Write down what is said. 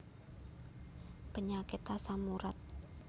Penyakit asam urat